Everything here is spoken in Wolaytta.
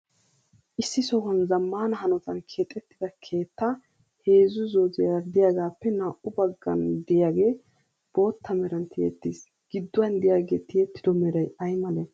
Issi sohuwan zammaana hanotan keexxettida keettaa heezzu zooziyara diyagaappe naa"u baggan diyagee bootta meran tiyyettis. Gidduwan diyagee tiyettido meray ayi male?